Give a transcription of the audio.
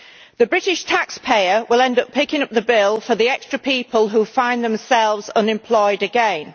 The British taxpayer will end up picking up the bill for the extra people who find themselves unemployed again.